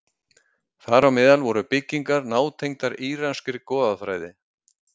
Þar á meðal voru byggingar nátengdar íranskri goðafræði.